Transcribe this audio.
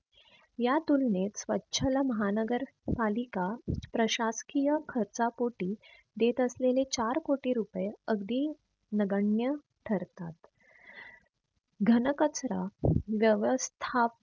या तुलनेत स्वछला महानगर पालिका प्रशासकीय खर्चापोटी देत असलेले चार कोटी रुपये अगदी नगण्य ठरतात. घन कचरा व्यवस्थाप